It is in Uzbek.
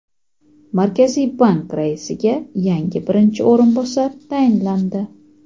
Markaziy bank raisiga yangi birinchi o‘rinbosar tayinlandi.